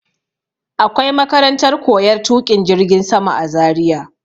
Akwai makarantar koyar tuƙin jirgin sama a Zaria.